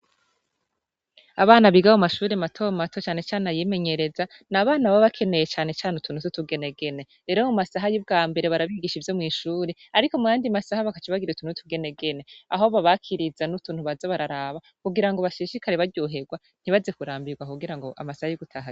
Abana biga mumashure mato mato nacane cane abimenyereza nabana baba bakeneye cane cane utuntu twutugenegene rero mumasaha yubwambere barabigisha ivyomwishure ariko muyandi masaha bakaca bagira utuntu twutugenegene aho babakiriza nutuntu baza bararaba kugira ngo bashishikare ntibaze kurambirwa amasaha yugutaha agere